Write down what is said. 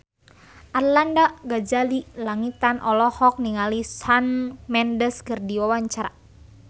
Arlanda Ghazali Langitan olohok ningali Shawn Mendes keur diwawancara